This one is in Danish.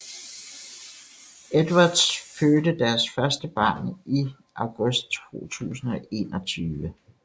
Edwards fødte deres første barn i august 2021